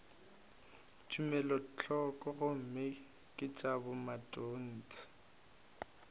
tumelothoko gomme ke tša bomatontshe